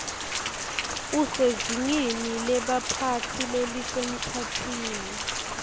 usezingeni lebaphatsi lelisemkhatsini